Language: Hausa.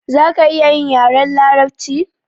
Zaka iya yin yaren larabci?